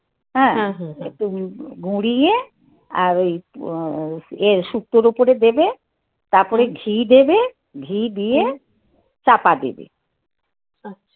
হ্যাঁ. একটু গুঁড়িয়ে, আর ওই এর শুক্তো ওপরে দেবে. তারপরে ঘি দেবে, ঘি দিয়ে, চাপা দেবে